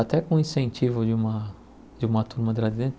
Até com o incentivo de uma de uma turma de lá de dentro.